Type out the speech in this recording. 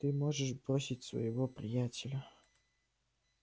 ты можешь бросить своего приятеля